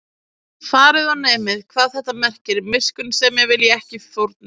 Farið og nemið, hvað þetta merkir: Miskunnsemi vil ég, ekki fórnir